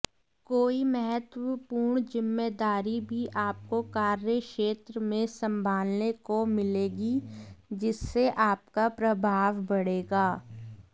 कोई महत्वपूर्ण जिम्मेदारी भी आपको कार्यक्षेत्र में संभालने को मिलेगी जिससे आपका प्रभाव बढ़ेगा